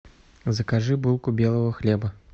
закажи булку белого хлеба